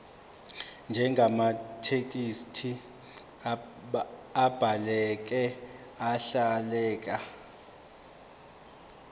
njengamathekisthi abhaleke ahleleka